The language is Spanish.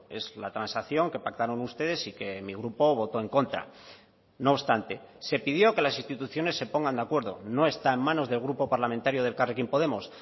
es la transacción que pactaron ustedes y que mi grupo votó en contra no obstante se pidió que las instituciones se pongan de acuerdo no está en manos del grupo parlamentario de elkarrekin podemos